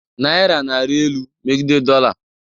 Naira na-arị elu megide dollar